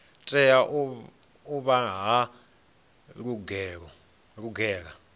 tea u vha yo lugela